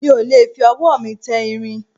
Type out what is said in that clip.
mi ò lè fi ọwọ́ mi tẹ irin